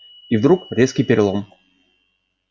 и вдруг резкий перелом